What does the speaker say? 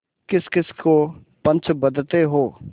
किसकिस को पंच बदते हो